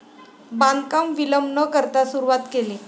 बांधकाम विलंब न करता सुरुवात केली.